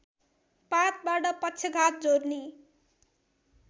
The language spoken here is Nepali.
पातबाट पक्षघात जोर्नी